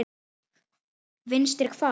Vinstri hvað?